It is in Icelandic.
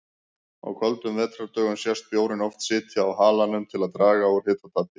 Á köldum vetrardögum sést bjórinn oft sitja á halanum til að draga úr hitatapi.